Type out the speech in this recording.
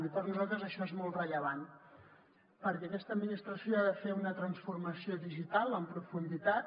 i per nosaltres això és molt rellevant perquè aquesta administració ha de fer una transformació digital en profunditat